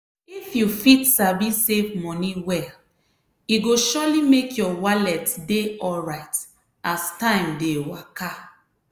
if you fit sabi save money well e go surely make your wallet dey alright as time dey waka.